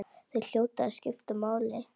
Þeir hljóta að skipta máli.